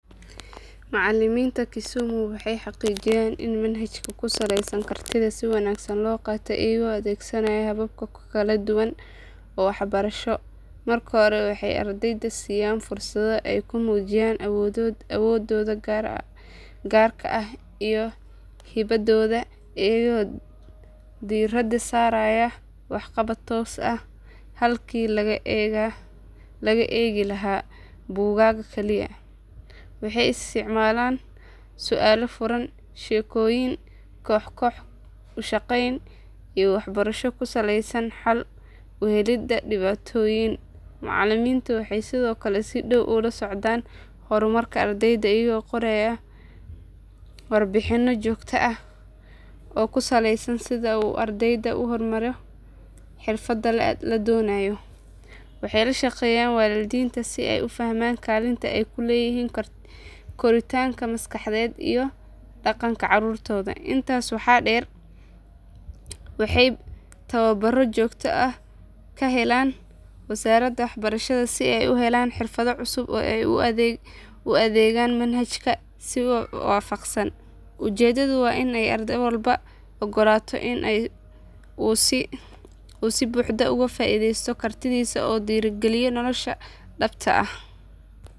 Macalimiinta kisumu waxay xaqiijiyaan in manhajka ku salaysan kartida si wanaagsan loo qaatay iyagoo adeegsanaya habab kala duwan oo waxbarasho. Marka hore waxay ardayda siiyaan fursado ay ku muujiyaan awooddooda gaarka ah iyo hibadooda iyagoo diiradda saaraya waxqabad toos ah halkii laga eegi lahaa buugaag kaliya. Waxay isticmaalaan su aalo furan, sheekooyin, koox koox u shaqayn, iyo waxbarasho ku salaysan xal u helidda dhibaatooyin. Macalimiintu waxay sidoo kale si dhow ula socdaan horumarka ardayda iyagoo qoraya warbixinno joogto ah oo ku salaysan sida uu ardaygu u horumaro xirfadaha la doonayo. Waxay la shaqeeyaan waalidiinta si ay u fahmaan kaalinta ay ku leeyihiin koritaanka maskaxeed iyo dhaqanka caruurtooda. Intaas waxaa dheer waxay tababarro joogto ah ka helaan wasaaradda waxbarashada si ay u helaan xirfado cusub oo ay ugu adeegaan manhajka si waafaqsan. Ujeeddadu waa in arday walba loo oggolaado in uu si buuxda uga faa iidaysto kartidiisa una diyaargaroobo nolosha dhabta ah.